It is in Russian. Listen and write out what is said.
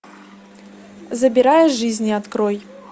забирая жизни открой